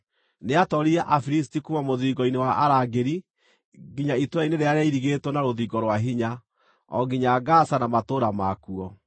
Nĩatooririe Afilisti kuuma mũthiringo-inĩ wa arangĩri nginya itũũra-inĩ rĩrĩa rĩairigĩtwo na rũthingo rwa hinya, o nginya Gaza na matũũra makuo.